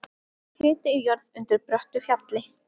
Hiti í jörð undir bröttu fjalli